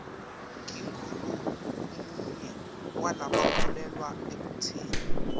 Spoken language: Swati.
ngingulomunye walabakholwelwa ekutseni